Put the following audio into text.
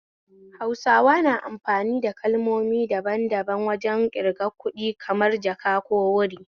Hausawa na amfani kalmomi dadan daban wajen ƙirgan kuɗi, kamar 'jaka' ko 'wuri'